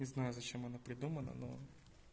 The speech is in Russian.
не знаю зачем оно придумано но